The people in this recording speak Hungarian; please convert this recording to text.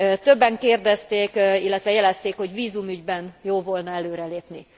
Többen kérdezték, illetve jelezték, hogy vízumügyben jó volna előrelépni.